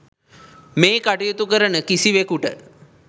මේ කටයුතු කරන කිසිවෙකුට